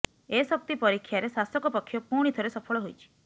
ଏ ଶକ୍ତି ପରୀକ୍ଷାରେ ଶାସକ ପକ୍ଷ ପୁଣି ଥରେ ସଫଳ ହୋଇଛି